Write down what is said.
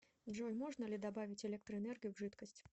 джой можно ли добавить электроэнергию в жидкость